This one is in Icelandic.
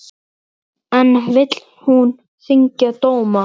En vill hún þyngja dóma?